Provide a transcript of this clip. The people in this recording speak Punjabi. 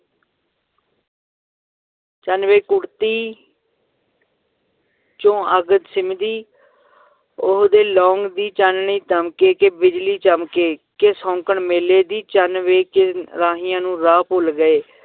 ਚੰਨ ਵੇ ਕੁੜਤੀ ਚੋਂ ਅੱਗ ਸਿੰਮਦੀ ਉਹਦੇ ਦੀ ਚਾਨਣੀ ਦਮਕੇ ਕਿ ਬਿਜਲੀ ਚਮਕੇ ਕਿ ਸ਼ੌਂਕਣ ਮੇਲੇ ਦੀ, ਚੰਨ ਵੇ ਕਿ ਰਾਹੀਆਂ ਨੂੰ ਰਾਹ ਭੁੱਲ ਗਏ